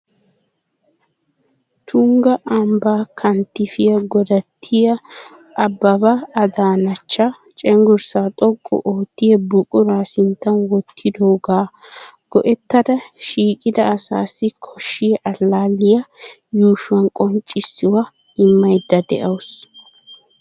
Tungga ambbaa kanttifiya godattiya Abbaba Adaanachcha cenggurssaa xoqqu oottiya buquraa sinttan wottidoogaa go'ettada shiiqida asaassi koshshiya allaalliya yuushuwan qonccissuwa immaydda de'awusu.